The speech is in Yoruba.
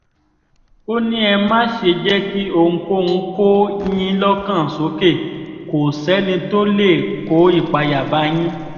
ó ní ẹ má ṣe jẹ́ kí ohunkóhun kó yín lọ́kàn sókè kó sẹ́ni tó lè kó ìpayà bá yín